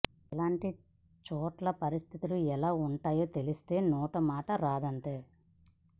ఇలాంటి చోట్ల పరిస్థితులు ఎలా ఉంటాయో తెలిస్తే నోట మాట రాదంతే